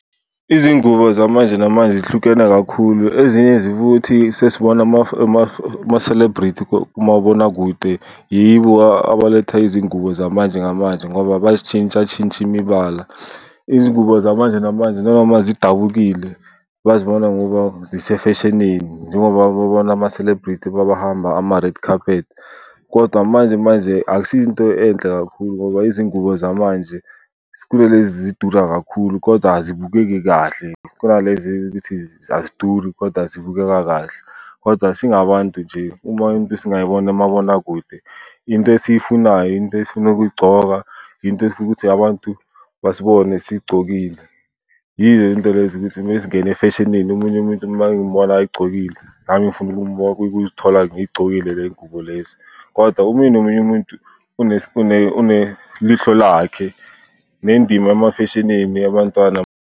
Izingubo zamanje namanje zihlukene kakhulu, ezinye sesibona ama-celebrity kumabonakude. Yibo abaletha izingubo zamanje ngamanje ngoba bazitshintshatshintsha imibala. Izingubo zamanje namanje noma zidabukile bazibona ngoba zise-fashion-ini njengoba babona ama-celebrity babahamba ama-red carpet. Kodwa manje manje akusiyo into enhle kakhulu ngoba izingubo zamanje zidura kakhulu koda azibukeki kahle, khona lezi ukuthi aziduri kodwa zibukeka kahle. Kodwa singabantu nje uma into singayibona kumabonakude into esiyifunayo, into esifuna ukuyigcoka, into esifuna ukuthi abantu basibone sigcokile yizinto lezi ukuthi mesingene efeshinini omunye umuntu mangimbona ay'gcokile nami ngifuna ukuzithola ngiy'gcokile le y'ngubo lezi. Kodwa omunye nomunye umuntu unelihlo lakhe nendima ema-fashion-ini. Abantwana